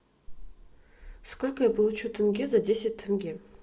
сколько я получу тенге за десять тенге